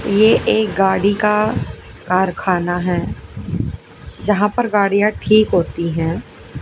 ये एक गाड़ी का कारखाना है जहां पर गाड़ियां ठीक होती हैं।